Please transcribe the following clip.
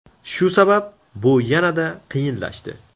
Shu sabab, bu yanada qiyinlashdi.